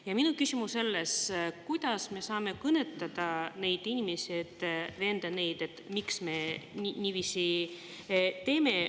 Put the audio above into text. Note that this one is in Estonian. Ja minu küsimus on selles, kuidas me saame kõnetada neid inimesi, et selgitada neile, miks me niiviisi teeme.